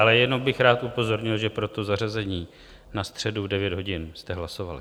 Ale jenom bych rád upozornil, že pro to zařazení na středu v 9 hodin jste hlasovali.